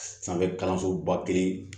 Sanfɛ kalansoba kelen